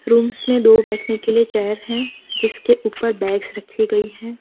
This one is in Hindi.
रूम्स में दो बैठने के लिए चेयर है जिसके ऊपर बैग्स रखी गई है।